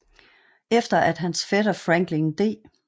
Efter at hans fætter Franklin D